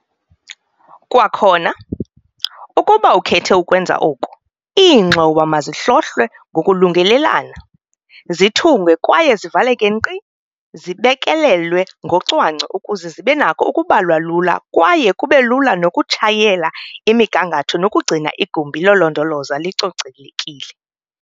Kwakhona, ukuba ukhethe ukwenza oku, iingxowa mazihlohlwe ngokulungelelana, zithungwe kwaye zivaleke nkqi zibekelelwe ngocwangco ukuze zibe nako ukubalwa lula kwaye kube lula nokutshayela imigangatho nokugcina igumbi lolondolozo licocelekile.